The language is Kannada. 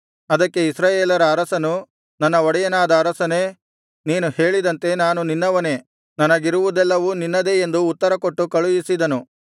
ಅದಕ್ಕೆ ಇಸ್ರಾಯೇಲರ ಅರಸನು ನನ್ನ ಒಡೆಯನಾದ ಅರಸನೇ ನೀನು ಹೇಳಿದಂತೆ ನಾನು ನಿನ್ನವನೇ ನನಗಿರುವುದೆಲ್ಲವೂ ನಿನ್ನದೇ ಎಂದು ಉತ್ತರಕೊಟ್ಟು ಕಳುಹಿಸಿದನು